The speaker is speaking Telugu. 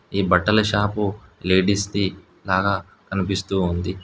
ఈ బట్టల షాపు లేడీస్ ది లాగా కనిపిస్తుంది.